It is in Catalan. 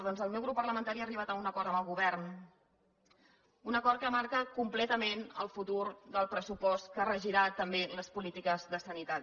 doncs el meu grup parlamentari ha arribat a un acord amb el govern un acord que marca completament el futur del pressupost que regirà també les polítiques de sanitat